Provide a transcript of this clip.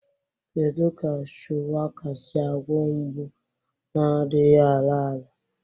Kedu ka shuwaka si agwọ mgbu na-adịghị ala ala?